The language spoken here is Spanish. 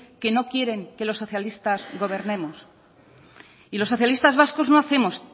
que no quieren que los socialistas gobernemos y los socialistas vascos no hacemos